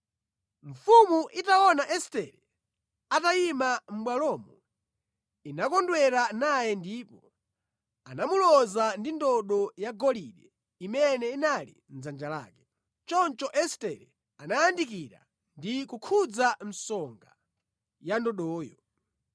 Mfumu itaona Estere atayima mʼbwalomo inakondwera naye ndipo anamuloza ndi ndodo yagolide imene inali mʼdzanja lake. Choncho Estere anayandikira ndi kukhudza msonga ya ndodoyo.